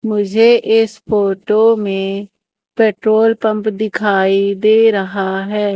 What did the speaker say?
मुझे इस फोटो में पेट्रोल पंप दिखाई दे रहा है।